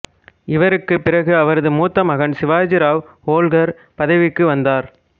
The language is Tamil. இவருக்குப் பிறகு அவரது மூத்த மகன் சிவாஜிராவ் ஓல்கர் பதவிக்கு வந்தார்